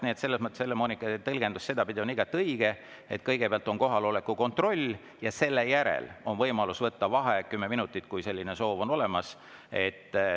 Nii et selles mõttes Helle-Moonika tõlgendus sedapidi on igati õige, et kõigepealt on kohaloleku kontroll ja selle järel on võimalus võtta kümme minutit vaheaega, kui selline soov on.